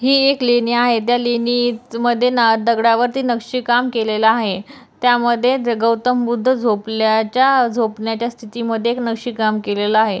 ही एक लेणी आहे त्या लेणीमध्ये दगडावरती नक्षीकाम केलेल आहे त्यामध्ये गौतम बुद्ध झोपल्याच्या झोपण्याच्या स्थिति मध्ये एक नक्षीकाम केलेल आहे.